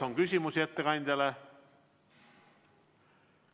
Kas on küsimusi ettekandjale?